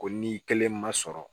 Ko n'i kelen ma sɔrɔ